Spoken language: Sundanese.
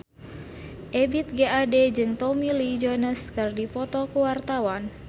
Ebith G. Ade jeung Tommy Lee Jones keur dipoto ku wartawan